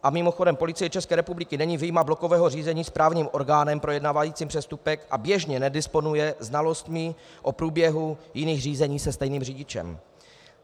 A mimochodem, Policie České republiky není vyjma blokového řízení správním orgánem projednávajícím přestupek a běžně nedisponuje znalostmi o průběhu jiných řízení se stejným řidičem.